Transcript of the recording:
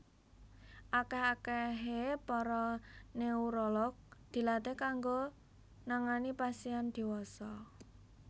Akèh akèhé para neurolog dilatih kanggo nangani pasien diwasa